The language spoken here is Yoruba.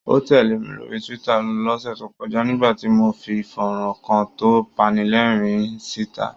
Ó tẹ̀lẹ̀ mi lórí Twitter lọ́sẹ̀ tó kọ́ja, nígbà tí mo fi fọ́nrán kan tó panilẹ́rìn-ín síta.